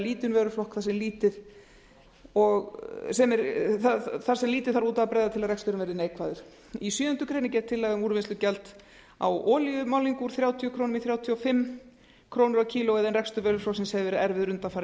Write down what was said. lítinn vöruflokkur þar sem lítið þarf út af að bregða til að reksturinn verði neikvæður í sjöundu grein er gerð tillaga um úrvinnslugjald á olíumálningu úr þrjátíu komma núll núll krónur kílógrömm en rekstur vöruflokksins hefur verið erfiður undanfarin